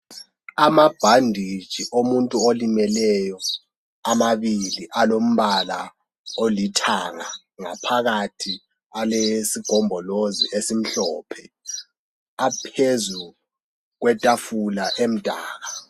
Amabhanditshi omuntu olimeleyo amabili alombala olithanga ngaphakathi alesigombilozi esimhlophe aphezu kwetafula emdaka.